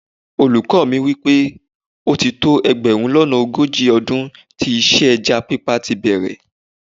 Olùkọ́ mi sọ wípé ó ti tó ẹgbẹ̀rún lọ́nà ogójì ọdún tí iṣẹ́ ẹja pípa tíi bẹ̀rẹ̀